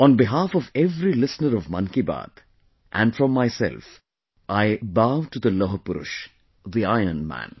On behalf of every listener of Mann ki Baat...and from myself...I bow to the Lauh Purush, the Iron Man